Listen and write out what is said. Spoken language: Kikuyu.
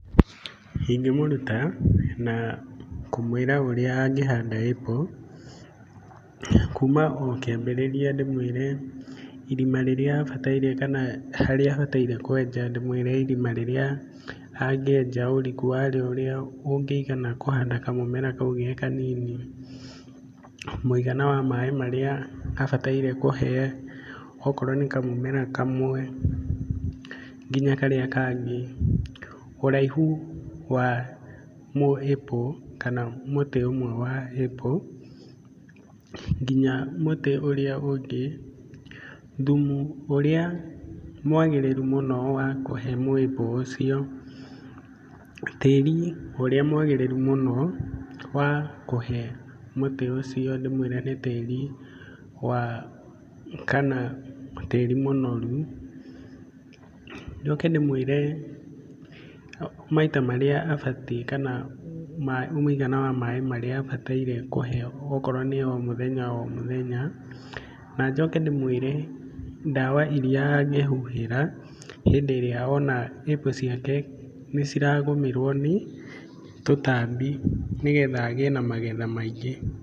Ingĩmũruta na kũmwĩra ũrĩa angĩhanda apple. Kuma o kĩambĩrĩria ndĩmwĩre irima rĩrĩa abataire kana harĩa abataire kwenja ndĩmwĩre irima rĩrĩa angĩenja, ũriku warĩo ũrĩa ũngĩigana kũhanda kamũmera kau gekanini, mũigana wa maaĩ marĩa abataire kũhe. O korwo nĩ kamũmera kamwe nginya karĩa kangĩ, ũraihu wa mũ apple kana mũtĩ ũmwe wa apple nginya mũtĩ ũrĩa ũngĩ, thumu ũrĩa mwagĩrĩru mũno wa kũhe mũ apple ũcio, tĩri ũrĩa mwagĩrĩru mũno wa kũhe mũtĩ ũcio. Ndĩmwĩre nĩ tĩri wa, kana tĩri mũnoru. Njoke ndĩmwĩre maita marĩa abatiĩ kana mũigana wa maaĩ marĩa abataire kũhe, okorwo nĩ o mũthenya. Na njoke ndĩmwĩre ndawa iria angĩhuhĩra hĩndĩ ĩrĩa ona apple ciake nĩ ciragũmĩrwo nĩ tũtambi nĩgetha agĩe na magetha maingĩ.